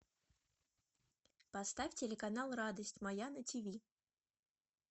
поставь телеканал радость моя на ти ви